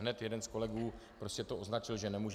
Hned jeden z kolegů prostě to označil, že nemůže -